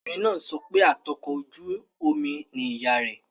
Ọmọbìnrin náà ń sọ pé atukọ̀ ojú omi ni ìyá rẹ̀